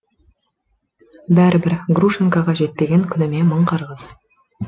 бәрібір грушенкаға жетпеген күніме мың қарғыс